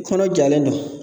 I kɔnɔ jalen don